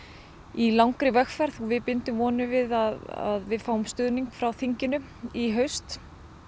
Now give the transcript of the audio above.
í langri vegferð við bindum vonir við að við fáum stuðning frá þinginu í haust